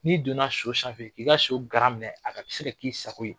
N'i donna so sanfɛ, k'i ka so garan minɛ a ka se ka k'i sago ye